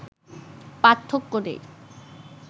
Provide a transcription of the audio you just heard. পার্থক্য নেই